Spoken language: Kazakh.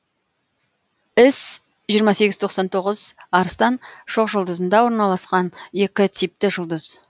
іс жиырма сегіз тоқсан тоғыз арыстан шоқжұлдызында орналасқан екі типті жұлдыз